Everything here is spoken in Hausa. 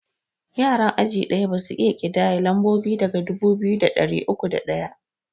Yaran aji ɗaya basu iya ƙidaya lambobi daga dubu biyu da ɗari uku da ɗaya